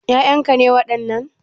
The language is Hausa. Ƴaƴan ka ne wadannan?